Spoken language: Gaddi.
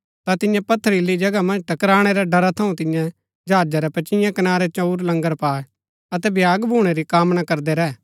ता तिन्ये पथरीली जगहा मन्ज टकराणै रै ड़रा थऊँ तिन्ये जहाजा री पचियें कनारै चंऊर लंगर पायै अतै भ्यागा भूणै री कामना करदै रैह